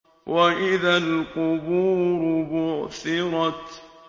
وَإِذَا الْقُبُورُ بُعْثِرَتْ